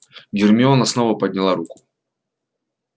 гермиона снова подняла руку